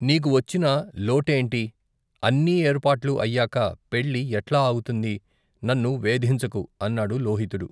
నీకు వచ్చిన లోటేంటి? అన్ని ఏర్పాట్లూ అయ్యాక పెళ్ళి ఎట్లా ఆగుతుంది? నన్ను వేధించకు! అన్నాడు లోహితుడు.